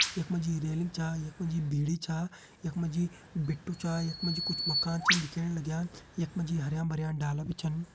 यख मा जी रेलिंग छा यख मा जी भिड़ी छा यख मा जी बिट्टु छा यख मा जी कुछ मकान छन दिखेण लग्यां यख मा जी हरयां भरयां डाला भी छन।